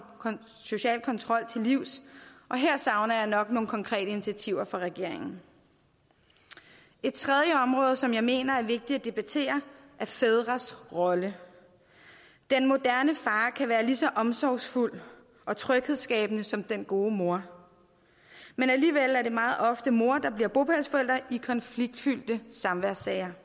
social kontrol til livs og her savner jeg nok nogle konkrete initiativer fra regeringen et tredje område som jeg mener er vigtigt at debattere er fædres rolle den moderne far kan være lige så omsorgsfuld og tryghedsskabende som den gode mor men alligevel er det meget ofte mor der bliver bopælsforælder i konfliktfyldte samværssager